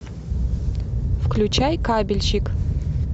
включай кабельщик